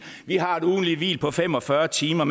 vi har et ugentligt hvil på fem og fyrre timer